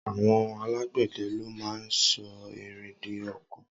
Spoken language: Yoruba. Awọn àlágbẹdẹ ló mà n sọ ìrín di ọ̀kọ̀